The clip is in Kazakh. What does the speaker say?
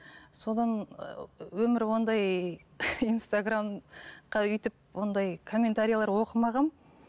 содан өмірі ондай инстаграмға өйтіп ондай комментарилер оқымағанмын